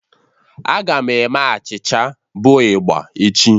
A ga m eme achịcha bụ igba echi.